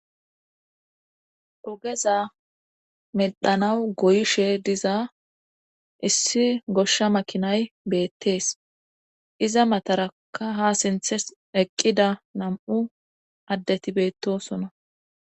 ogeza medhanawu goyishe diza issi goshsha makinayi beettees iza mataraka ha sinthes eqqida nam'u addeti bettosona